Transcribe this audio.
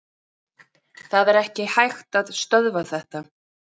Það er ekki hægt að stöðva þetta.